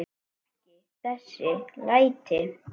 Ekki þessi læti.